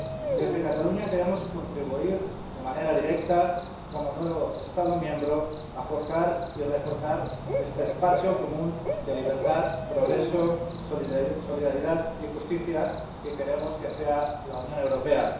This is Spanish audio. Desde Cataluña queremos contribuir de manera directa como nuevo Estado miembro a forjar y reforzar este espacio común de libertad, progreso, solidaridad y justicia que queremos que sea la Unión Europea.